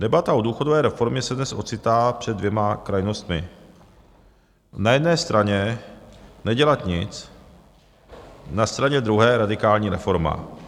Debata o důchodové reformě se dnes ocitá před dvěma krajnostmi: na jedné straně nedělat nic, na straně druhé radikální reforma.